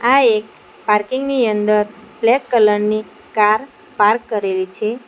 આ એક પાર્કિંગ ની અંદર બ્લેક કલર ની કાર પાર્ક કરેલી છે.